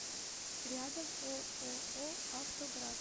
рядом ооо автоград